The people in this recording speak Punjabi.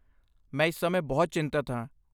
ਮੈਂ ਇਸ ਸਮੇਂ ਬਹੁਤ ਚਿੰਤਤ ਹਾਂ।